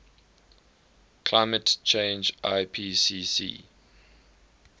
climate change ipcc